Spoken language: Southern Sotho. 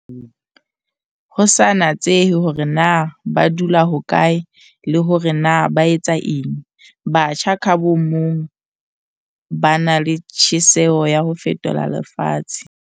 Ho sa natsehe hore na ba dula hokae le hore na ba etsa eng, batjha ka bomong ba na le tjheseho ya ho fetola lefatshe.